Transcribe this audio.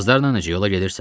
Qızlarla necə yola gedirsən?